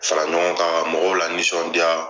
Fara ɲɔgɔn kan, ka mɔgɔw lanisɔndiya.